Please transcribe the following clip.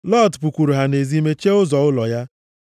Lọt pụkwuru ha nʼezi, mechie ụzọ ụlọ ya,